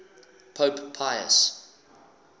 pope pius